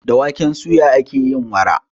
Da waken suya ake yin awara.